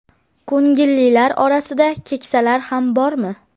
Ko‘ngillilar orasida keksalar ham bormi?